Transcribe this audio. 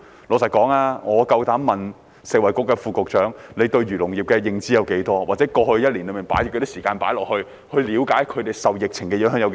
老實說，我有膽子問食物及衞生局副局長，對漁農業的認知有多少？或過去一年，他投放多少時間了解他們受疫情影響的程度？